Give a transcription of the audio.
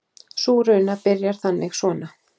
Sú runa byrjar þannig svona